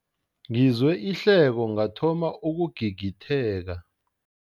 Ngizwe ihleko ngathoma ukugigitheka.